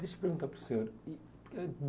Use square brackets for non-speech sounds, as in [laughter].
Deixa eu perguntar para o senhor e [unintelligible]